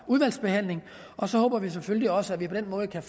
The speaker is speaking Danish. udvalgsbehandlingen og så håber vi selvfølgelig også at vi på den måde kan